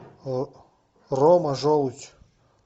рома желудь